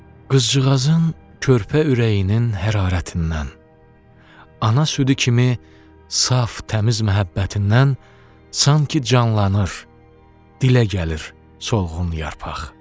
Qızcığazın körpə ürəyinin hərarətindən, ana südü kimi saf, təmiz məhəbbətindən sanki canlanır, dilə gəlir solğun yarpaq.